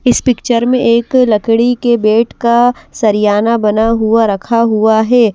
इस पिक्चर में एक लकड़ी के बेट का सरियाना बना हुआ रखा हुआ हे।